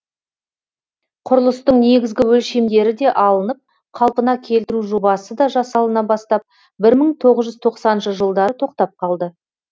құрылыстың негізгі өлшемдері де алынып қалпына келтіру жобасы да жасалына бастап бір мың тоғыз жүз тоқсаныншы жылдары тоқтап қалды